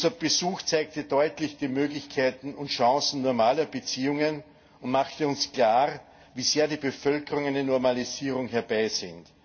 Unser Besuch zeigte deutlich die Möglichkeiten und Chancen normaler Beziehungen und machte uns klar, wie sehr die Bevölkerung eine Normalisierung herbeisehnt.